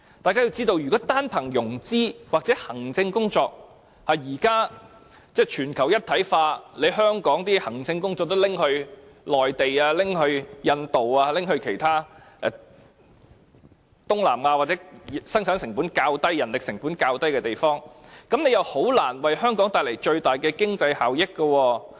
大家要知道，現時全球一體化，如果只論融資或行政工作，香港的行政工作可能會被內地、印度、東南亞或其他生產及人力成本較低的地方取代，這樣，建議就難以為香港帶來最大的經濟效益。